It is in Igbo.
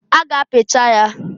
A ga-apicha ya.